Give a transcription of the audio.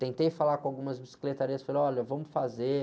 Tentei falar com algumas bicicletarias, falei, olha, vamos fazer.